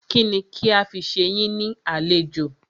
Kínni kí a fi ṣe yín ní àlejò?